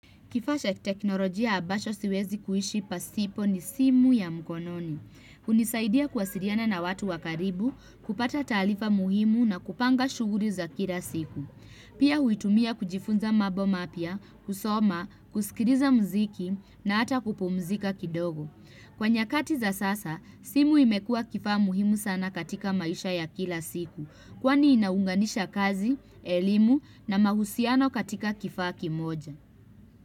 Kifashe teknolojia abasho siwezi kuishi pasipo ni simu ya mkononi. Hunisaidia kuwasiriana na watu wa karibu kupata taalifa muhimu na kupanga shuguri za kila siku. Pia huitumia kujifunza mabo mapya, kusoma, kusikiliza mziki na hata kupumzika kidogo. Kwa nyakati za sasa, simu imekua kifaa muhimu sana katika maisha ya kila siku. Kwani inaunganisha kazi, elimu na mahusiano katika kifaa kimoja.